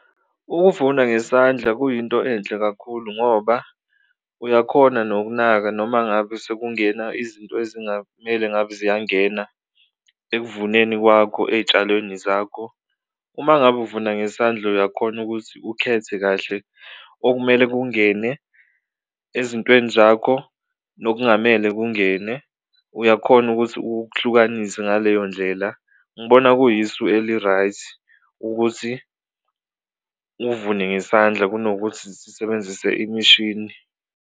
Ukuvuna ngesandla kuyinto enhle kakhulu ngoba uyakhona nokunaka noma ngabe sekungena izinto ezingamele ngabe ziyangena ekuvuneni kwakho ey'tshalweni zakho, uma ngabe uvuna ngesandla uyakhona ukuthi ukhethe kahle okumele kungene ezintweni zakho nokungamele kungene uyakhona ukuthi ukuhlukanise ngaleyo ndlela. Ngibona kuyisu eli-right ukuthi uvune ngesandla kunokuthi zisebenzise imishini.